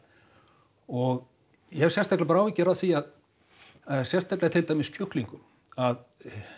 og ég hef sérstakar bara áhyggjur af því að sérstaklega til dæmis kjúklingur að